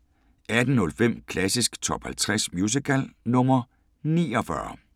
18:05: Klassisk Top 50 Musical – nr. 49